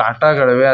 ಕಾಟಗಳಿವೆ.